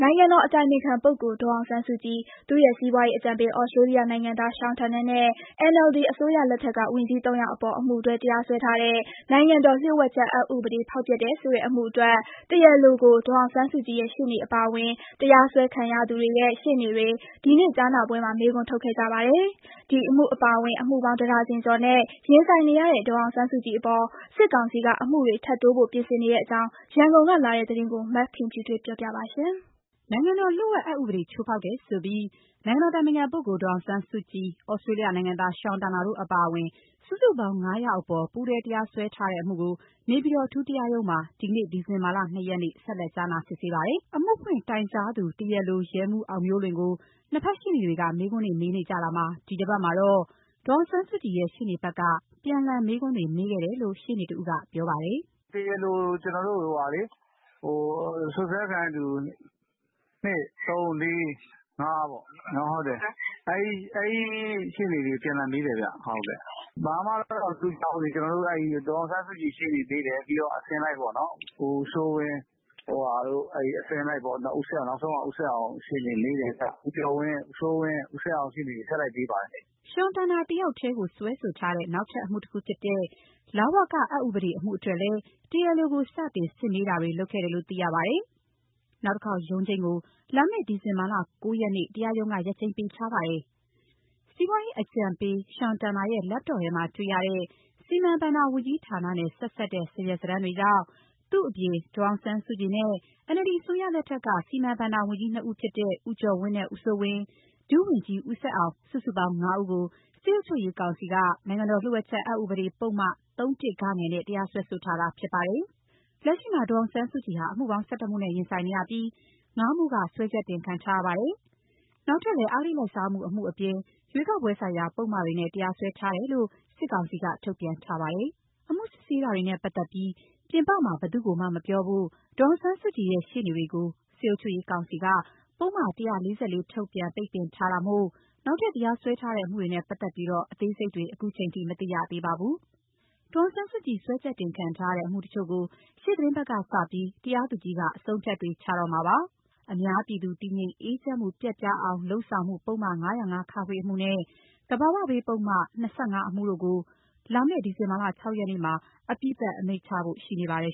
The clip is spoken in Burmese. ုင်ငံတော်အတိုင်ပင်ခံပုဂ္ဂိုလ် ဒေါ်အောင်ဆန်းစုကြည်၊ သူ့ရဲ့ စီးပွားရေးအကြံပေး သြစတြေးလျ နိုင်ငံသား Sean Turnell နဲ့ NLD အစိုးရလက်ထက်က ဝန်ကြီး သုံးယောက်အပေါ် အမှုတွဲ တရားစွဲထားတဲ့ နိုင်ငံတော်လျှို့ဝှက်ချက် အက်ဥပဒေ ဖောက်ဖျက်တယ်ဆိုတဲ့ အမှုအတွက် တရားလိုကို ဒေါ်အောင်ဆန်းစုကြည်ရဲ့ ရှေ့နေအပါအဝင် တရားစွဲခံရသူတွေရဲ့ ရှေ့နေတွေ ဒီနေ့ကြားနာပွဲမှာ မေးခွန်းထုတ်ခဲ့ကြပါတယ်။ ဒီအမှုအပါအဝင် အမှုပေါင်း တဒါဇင်ကျော်နဲ့ ရင်ဆိုင်နေရတဲ့ ဒေါ်အောင်းစုကြည်အပေါ် စစ်ကောင်စီက အမှုတွေ ထပ်တိုးဖို့ ပြင်ဆင်နေတဲ့ အကြောင်း ရန်ကုန်ကလာတဲ့သတင်းကို မခင်ဖြူထွေးက တင်ပြပေးထားပါတယ်။ နိုင်ငံတော်လျှို့ဝှက်ချက် အက်ဥပဒေကို ချိုးဖောက်တယ်ဆိုပြီး ဒေါ်အောင်ဆန်းစုကြည်၊ သြစတြေး လျနိုင်ငံသား Sean Turnell တို့အပါအဝင် စုစုပေါင်း ၅ ယောက်အပေါ် ပူးတွဲတရားစွဲထားတဲ့အမှုကို နေပြည်တော် အထူးတရားရုံးမှာ ဒီနေ့ ဒီဇင်ဘာ ၂ ရက်နေ့ ဆက်လက် စစ်ဆေးကြားနာပါတယ်။ အမှုဖွင့်တိုင်ကြားသူ တရားလို ရဲမှူးအောင်မျိုးလွင်ကို နှစ်ဘက်ရှေ့နေတွေက မေးခွန်းတွေ မေးနေ ကြတာမှာ ဒီတပတ်မှာတော့ ဒေါ်အောင်ဆန်းစုကြည်ရဲ့ ရှေ့နေဘက်က ပြန်လှန်မေးခွန်းတွေ မေးခဲ့တယ်လို့ရှေ့နေတဦးကပြောပါတယ်။ “ကျနော်တို့ တရားလိုကို စွပ်စွဲခံရသူ ၂၊ ၃၊ ၄၊ ၅ ပေါ့ အဲလိုအစဉ်လိုက် အပြန်အလှန်မေးကြတယ်။ ဘာမှတော့ မထူးခြားသေးပါဘူး။ ဒေါ်အောင်ဆန်းစုကြည် ရှေ့နေမေးတယ်။ ပြီးတော့အစဉ်လိုက်ပေါ့ ဦးစိုးဝင်း၊ အစဉ်လိုက်ပေါ့။ နောက်ဆုံးက ဦးဆက်အောင်ရှေ့နေ။ ဦးစိုးဝင်း၊ ဦးကျော်ဝင်း၊ ဦးဆက်အောင် ဆက်တိုက်မေးပါတယ်။” Sean Turnell တယောက်တည်းကို နောက်ထပ်စွဲဆိုထားတဲ့ လဝကအက်ဥပဒေ အမှုအတွက်လည်း တရားလိုကို စတင်စစ်မေးတာတွေ လုပ်ခဲ့တယ်လို့ သိရပါတယ်။ နောက်တခေါက် ရုံးချိန်းကို လာမယ့် ဒီဇင်ဘာ ၉ ရက်နေ့ကို တရားရုံးက ရက်ချိန်းပေးထားပါတယ်။ စီးပွားရေးအကြံပေး Sean Turnell ရဲ့ Laptop ထဲမှာတွေ့ရတဲ့ စီမံဘဏ္ဍာဝန်ကြီးဌာနနဲ့ ဆက်စပ်တဲ့ စာရွက်စာတမ်းတွေကြောင့် သူ့အပြင် ဒေါ်အောင်ဆန်းစုကြည်နဲ့ NLD အစိုးရလက်ထက်က စီမံဘဏ္ဍာ ဝန်ကြီး နှစ်ဦးဖြစ်တဲ့ ဦးကျော်ဝင်းနဲ့ ဦးစိုးဝင်း၊ ဒုဝန်ကြီး ဦးဆက်အောင် စုစုပေါင်း ၅ ဦးကို စစ်အုပ် ချုပ်ရေး ကောင်စီက နိုင်ငံတော်လျှို့ဝှက်ချက်အက်ဥပဒေပုဒ်မ ၃ ဂ နဲ့ တရားစွဲဆိုထားတာ ဖြစ်ပါတယ်။ လက်ရှိမှာ ဒေါ်အောင်ဆန်းစုကြည်ဟာ အမှုပေါင်း ၁၁ မှုနဲ့ ရင်ဆိုင်နေရပြီး ၅ မှုက စွဲချက်တင်ခံထား ရပါတယ်။ နောက်ထပ်လည်း အဂတိလိုက်စားမှု တမှုအပြင် ရွေးကောက်ပွဲဆိုင်ရာ ပုဒ်မတွေနဲ့ တရားစွဲ ထားတယ်လို့ စစ်ကောင်စီက ထုတ်ပြန်ထားပါတယ်။ အမှုစစ်ဆေးတာတွေနဲ့ပတ်သက်ပြီး ပြင်ပမှာ ဘယ်သူ့ကိုမှမပြောဖို့ ဒေါ်အောင်ဆန်းစုကြည်ရဲ့ ရှေ့နေ တွေကို စစ်အုပ်ချုပ်ရေးကောင်စီက ပုဒ်မ ၁၄၄ ထုတ် ပိတ်ပင်ထားတာမို့ နောက်ထပ်တရားစွဲထားတဲ့ အမှုတွေနဲ့ပတ်သက်ပြီး အသေးစိတ်တွေ ခုချိန်ထိ မသိရသေးပါဘူး။ ဒေါ်အောင်ဆန်းစုကြည် စွဲချက်တင်ခံထားရတဲ့ အမှုတချို့ကို ရှေ့သီတင်းပတ်ကစပြီး တရားသူကြီးက အဆုံးအဖြတ်တွေ ချတော့မှာဖြစ်ပါတယ်။ အများပြည်သူ တည်ငြိမ်အေးချမ်းမှု ပျက်ပြားအောင် လုပ်ဆောင်မှု ပုဒ်မ ၅၀၅-ခ အမှု နဲ့ သဘာဝဘေးပုဒ်မ ၂၅ အမှုတို့ကို လာမယ့် ဒီဇင်ဘာ ၆ ရက်နေ့မှာ အပြီးသတ် အမိန့်ချဖို့ရှိနေပါတယ်